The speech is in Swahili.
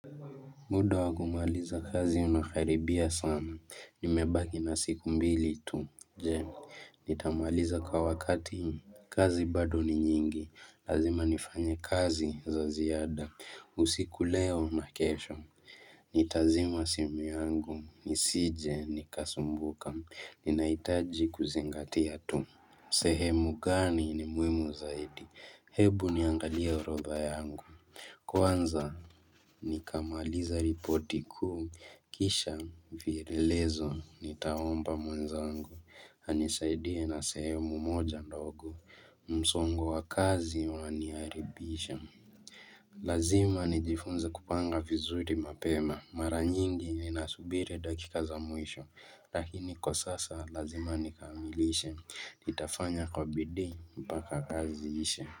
Muda wa kumaliza kazi unakaribia sana, nimebaki na siku mbili tu, je, nitamaliza kwa wakati, kazi bado ni nyingi, lazima nifanye kazi za ziada, usiku leo na kesho, nitazima simu yangu, nisije, nikasumbuka, ninahitaji kuzingatia tu. Sehemu gani ni muhimu zaidi? Hebu niangalie urodha yangu. Kwanza nikamaliza ripoti kuu. Kisha vielelezo nitaomba mwenzangu. Anisaidie na sehemu moja ndogo. Msongo wakazi unaniaribisha. Lazima nijifunze kupanga vizuri mapema mara nyingi ninasubiri dakika za mwisho lakini kwa sasa lazima nikamilishe nitafanya kwa bidii mpaka kazi iishe.